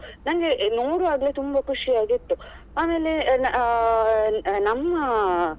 ನಂಗೆ ನೋಡವಾಗಲೇ ತುಂಬಾ ಖುಷಿಯಾಗಿತ್ತು ಆಮೇಲೆ ಅಹ್ ನಮ್ಮ.